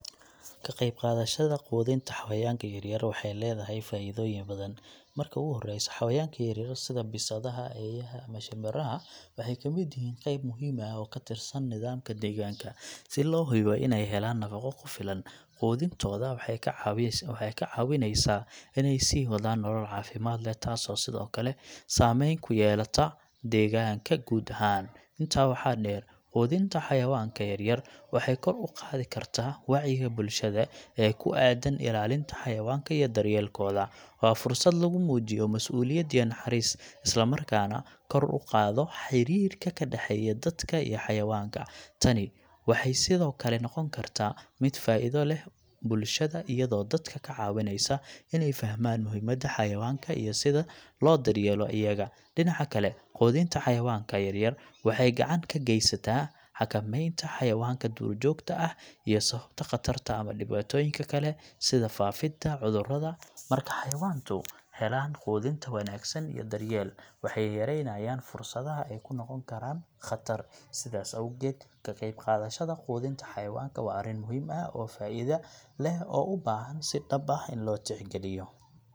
Ka qayb qaadashada quudinta xawayanka yaryar waxay leedahay faa’iidooyin badan. Marka ugu horeysa, xayawaanka yaryar sida bisadaha, eeyaha, iyo shimbiraha waxay ka mid yihiin qayb muhiim ah oo ka tirsan nidaamka deegaanka. Si loo hubiyo in ay helaan nafaqo ku filan, quudintooda waxay ka caawineysaa inay sii wadaan nolol caafimaad leh, taasoo sidoo kale saameyn ku yeelata deegaanka guud ahaan. Intaa waxaa dheer, quudinta xawayanka yaryar waxay kor u qaadi kartaa wacyiga bulshada ee ku aaddan ilaalinta xawayanka iyo daryeelkooda. Waa fursad lagu muujiyo masuuliyad iyo naxariis, isla markaana kor u qaado xiriirka ka dhexeeya dadka iyo xawayanka. Tani waxay sidoo kale noqon kartaa mid faa'iido leh bulshada, iyadoo dadka ka caawineysa inay fahmaan muhiimadda xayawaanka iyo sida loo daryeelo iyaga. Dhinaca kale, quudinta xayawaanka yaryar waxay gacan ka geysantaa xakameynta xayawaanka duurjoogta ah ee sababa khatar ama dhibaatooyin kale, sida faafidda cudurrada. Marka xayawaanku helaan quudinta wanaagsan iyo daryeel, waxay yareynayaan fursadaha ay ku noqon karaan khatar. Sidaas awgeed, ka qayb qaadashada quudinta xayawaanka yaryar waa arrin muhiim ah oo faa'iido leh oo u baahan in si dhab ah loo tixgeliyo.